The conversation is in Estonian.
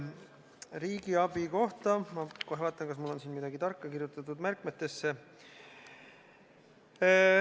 Riigiabi kohta ma kohe vaatan, kas mul on siin midagi tarka kirjutatud märkmetesse.